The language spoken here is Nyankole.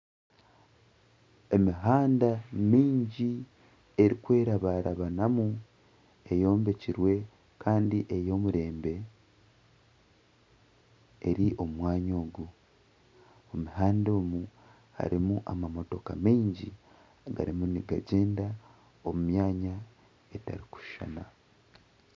Emihanda mingi erikwerabarabanamu eyombekirwe kandi ey'omurembe eri omu mwanya ogu, omu muhanda omu harimu amamotooka mingi garimu nigagyenda omu myanya etarikushushana.